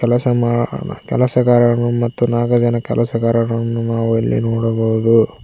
ಕೆಲ್ಸ ಮಾಡ್ ಕೆಲಸಗಾರರು ಮತ್ತು ನಾಲ್ಕು ಜನ ಕೆಲಸಗಾರರನ್ನು ನಾವು ಇಲ್ಲಿ ನೋಡಬಹುದು.